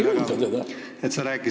Aga keegi ei ründa ju teda.